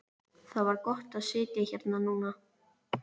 Það var gott að sitja hérna núna.